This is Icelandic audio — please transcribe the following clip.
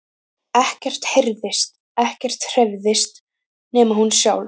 Ekkert heyrðist, ekkert hreyfðist, nema hún sjálf.